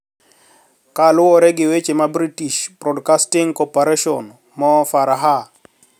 Ka luwore gi weche ma British Broadcasting Corporation, Mo Farah,